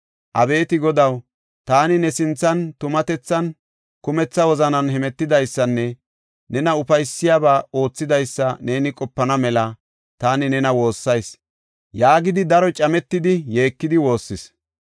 “Abeeti Godaw, taani ne sinthan tumatethan, kumetha wozanan hemetidaysanne nena ufaysiyabaa oothidaysa neeni qopana mela taani ne woossayis” yaagidi, daro cametidi, yeekidi woossis.